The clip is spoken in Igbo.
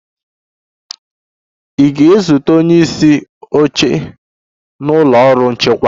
Ị ga-ezute onye isi oche na ụlọ ọrụ nchịkwa.